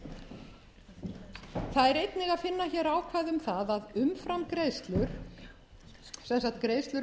er einnig að finna hér ákvæði um það að umframgreiðslur sem sagt greiðslur